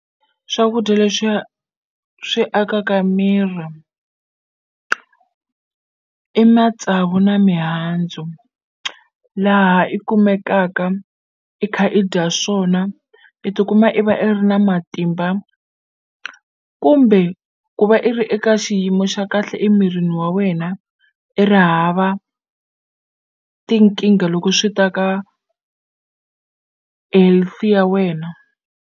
Swakudya leswiya swi akaka miri i matsavu na mihandzu laha i kumekaka i kha i dya swona i tikuma i va i ri na matimba kumbe ku va i ri eka xiyimo xa kahle emirini wa wena i ri hava tinkingha loko swi ta ka healthy ya wena.